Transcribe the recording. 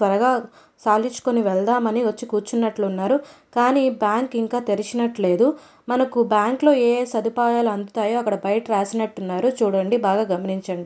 త్వరగా సాలించుకొని వెళ్దాం అని వచ్చి కూర్చునట్లు ఉన్నారు కానీ బ్యాంక్ ఇంకా తెరిచినట్లేదు. మనకు బ్యాంక్ లో ఏ ఏ సదుపాయాలు అందుతాయో అక్కడ బయట రాసినట్టున్నారు చూడండి బాగా గమనించండి.